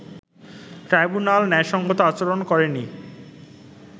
tribunal ন্যায়সংগত আচরণ করেনি